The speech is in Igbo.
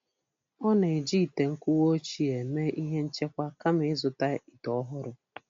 Ọ na-eji ite nkuwa ochie eme ihe nchekwa kama ị zụta ite ọhụrụ.